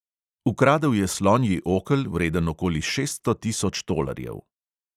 Ukradel je slonji okel, vreden okoli šeststo tisoč tolarjev.